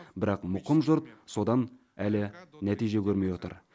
бірақ мұқым жұрт содан әлі нәтиже көрмей отыр